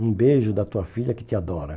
Um beijo da tua filha que te adora.